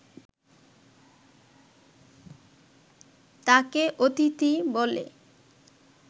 তাঁকে অতিথি বলে